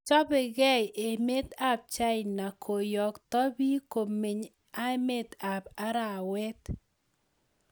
Chopegei emet ab china koyokto piik komeny emet an arawet